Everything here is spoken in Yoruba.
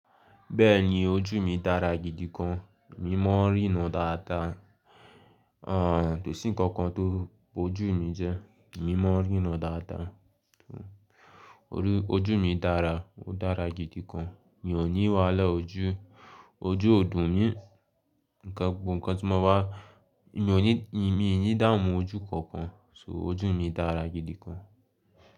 Bẹ́ẹ̀ni, ojú mi dára gidi gan, mí mọ̀ n rí rán dáadáa. Àn, tòsí ǹkan kan tó bo ojú mi jẹ, mí mọ̀ n rí ran dáadáa. Ojú mi dára, ó dára gidi gan, mi ò ní wàhálà ojú, ojú ò dùn mí. Nǹkan gbogbo ǹkan tí ó máa, mi ò ní, mi nì í dààmú ojú kankan, so ojú mi dára gidi gan.